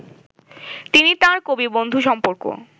তিনি তাঁর কবিবন্ধু সম্পর্ক